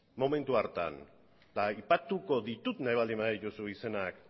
momentu hartan aipatuko ditut nahi baldin badituzu izenak